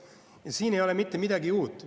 Ja siin ei ole mitte midagi uut.